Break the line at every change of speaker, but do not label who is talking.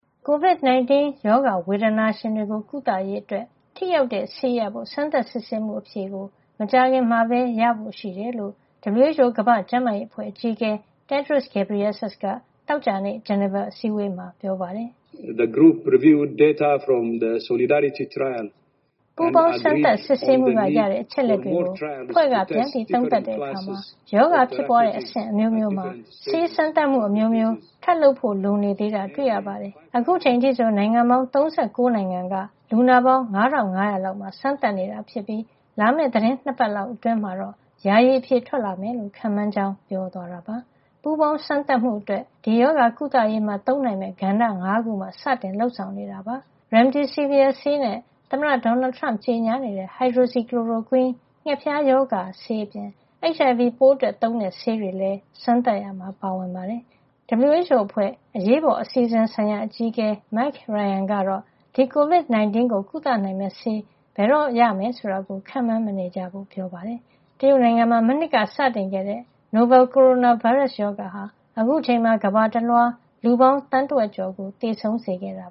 ကိုဗစ် ၁၉ ရောဂါ ဝေဒနာရှင်တွေကို ကုသရေးအတွက် ထိရောက်တဲ့ဆေးရဖို့ စမ်းသပ်စစ်ဆေးမှု အဖြေကို မကြာခင်မှာပဲ ရဖို့ ရှိတယ်လို့ WHO ကမ္ဘာ့ကျန်းမာရေးအဖွဲ့အကြီးအကဲ Tedros Adhanom Ghebreyesus က သောကြာနေ့ ဂျနီဗာအစည်းအဝေးမှာ ပြောပါတယ်။
“ပူးပေါင်း စမ်းသပ်စစ်ဆေးမှုက ရတဲ့အ ချက်လက်တွေကိုအဖွဲ့က ပြန်သုံးသပ်တဲ့ အခါ
ရောဂါဖြစ်ပွါးတဲ့ အဆင့်အမျိုးမျိုးမှာ ဆေးစမ်းသပ်မှုအမျိုးမျိုး ထပ်လုပ်ဖို့ လိုနေသေးတာကို တွေ့ရပါတယ်။ အခုချိန် အထိဆို နိုင်ငံပေါင်း ၃၉ နိုင်ငံက လူနာပေါင်း ၅ ၅၀၀ လောက်မှာ စမ်းသပ်နေတာ ဖြစ်ပြီး လာမယ့် သီတင်း ၂ ပတ်လောက် အတွင်းမှာတော့ ယာယီ အဖြေထွက် လာမယ်” လို့ ခန့်မှန်းကြောင်း ပြောသွားတာပါ။ ပူးပေါင်းစမ်းသပ်မှုအတွက် ဒီရောဂါကုသရေးမှာ သုံးနိုင်မယ့် ကဏ္ဍ ၅ ခုမှာ စတင်လုပ်ဆောင်နေတာ ဖြစ်ပါတယ်။ Remdesivir ဆေးနဲ့ သမ္မတ ဒေါ်နယ်ထရမ့် ကြေညာနေတဲ့ Hydroxychloroquine ငှက်ဖျားရောဂါအတွက် ဆေး အပြင် HIV ပိုးအတွက်သုံးတဲ့ ဆေးတွေလည်း စမ်းသပ်ရာမှာ ပါဝင်ပါတယ်။ WHO အဖွဲ့ အရေးပေါ်အစီအစဉ်ဆိုင်ရာ အကြီးအကဲ Mike Ryan ကတော့ ဒီ ကိုဗစ် ၁၉ ကို ကုသနိုင်မယ့် ဆေး ဘယ်တော့ရမယ် ဆိုတာကို ခန့်မှန်း မနေကြဖို့ ပြောပါတယ်။ တရုတ်နိုင်ငံ မှာ မနှစ်ကစတင်ခဲ့တဲ့ နိုဗယ်လ် ကိုရိုနာဗိုင်းရပ်စ် ရောဂါဟာ အခုအချိန်မှာကမ္ဘာတလွှား လူပေါင်း သန်းတဝက်ကျော် ကို သေဆုံးစေခဲ့တာ